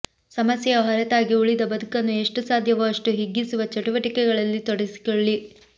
ಸಮಸ್ಯೆಯ ಹೊರತಾಗಿ ಉಳಿದ ಬದುಕನ್ನು ಎಷ್ಟು ಸಾಧ್ಯವೋ ಅಷ್ಟು ಹಿಗ್ಗಿಸುವ ಚಟುವಟಿಕೆಗಳಲ್ಲಿ ತೊಡಗಿಸಿಕೊಳ್ಳಿ